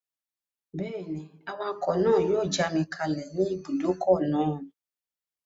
Bẹ́ẹ̀ni, awakọ̀ náà yóò já mi kalẹ̀ ní ibùdókọ̀ náà